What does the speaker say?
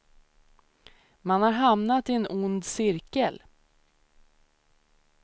Man har hamnat i en ond cirkel.